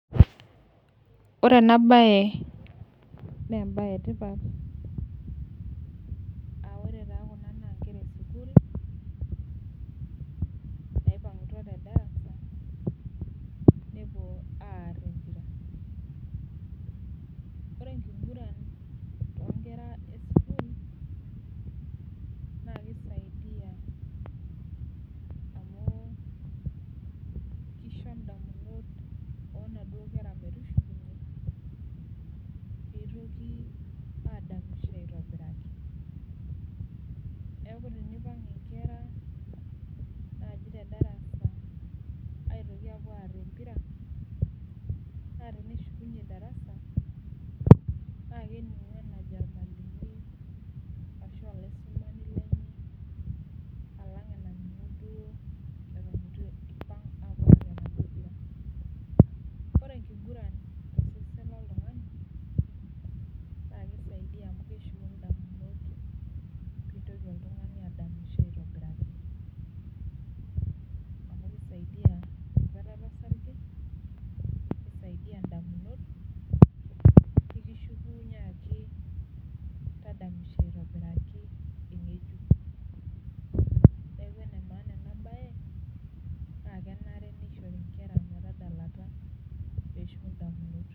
Ore ena baye naa embaye e tipat, aa ore taa kuna naa inkera e sukuul, naipang'utua te darasa nepuo aar empira. Ore enkiguran too inkera esukuul naa keisaidia amu keisho indamunot oo naduo kera metushukunye, peitoki adamisho aitobiraki. Neaku ninye eipang'a inkera naaji te darasa apuo aar empira. Naa teneshukunye darasa, naa kening'u enajo olmwalimui, ashu olaisumani lenye, alang' enaning'u duo ewuen eitu eipang' awuo aar empira. Ore enkiguran tosesen loltung'ani, naa keisaidia amu keshuku indamunot peitoki oltung'ani adamisho aitobiraki, amu keisaidia enkwetata osarge, keisaidia indamunot pee kishukunye ake tadamisho aitobiraki,. Neaku ene maana ena baye neaku enare neishori inkera metadalata pee eshuku indamunot.